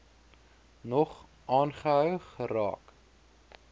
nog aangehou geraak